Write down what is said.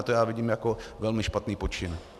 A to já vidím jako velmi špatný počin.